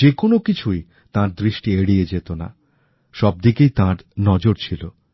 যে কোনো কিছুই তাঁর দৃষ্টি এড়িয়ে যেতনা সব দিকেই তাঁর নজর ছিল